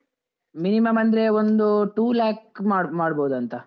Minimum ಅಂದ್ರೆ ಒಂದು two lakh ಮಾಡ್ಬ~ ಮಾಡ್ಬೋದಾಂತ.